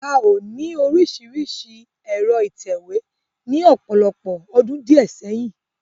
A o ní orísirísi ẹ̀rọ ìtẹ̀wé ní ọ̀pọ̀lọpọ̀ ọdún diẹ sẹ́yìn.